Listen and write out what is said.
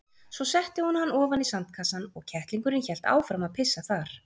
Svo setti hún hann ofan í sandkassann og kettlingurinn hélt áfram að pissa þar.